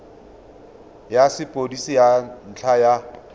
ya sepodisi ka ntlha ya